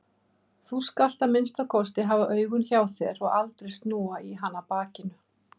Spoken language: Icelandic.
Þú skalt að minnsta kosti hafa augun hjá þér og aldrei snúa í hana bakinu.